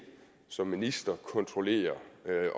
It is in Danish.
som minister ikke kontrollere